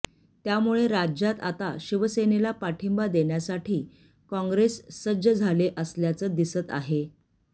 त्यामुळे राज्यात आता शिवसेनेला पाठींबा देण्यासाठी कॉंग्रेस सज्ज झाले असल्याचं दिसत आहे